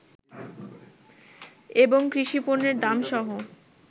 এবং কৃষিপণ্যের দাম সহ